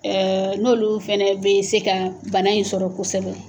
n'olu fana bɛ se ka bana in sɔrɔ kosɛbɛ.